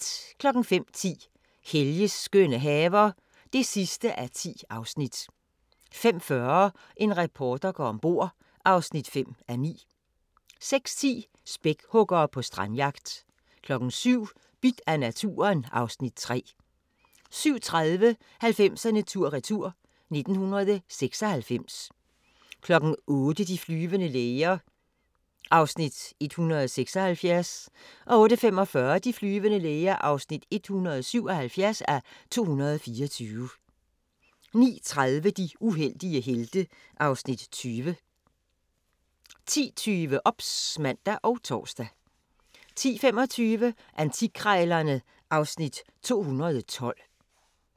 05:10: Helges skønne haver (10:10) 05:40: En reporter går om bord (5:9) 06:10: Spækhuggere på strandjagt 07:00: Bidt af naturen (Afs. 3) 07:30: 90'erne tur-retur: 1996 08:00: De flyvende læger (176:224) 08:45: De flyvende læger (177:224) 09:30: De uheldige helte (Afs. 20) 10:20: OBS (man og tor) 10:25: Antikkrejlerne (Afs. 212)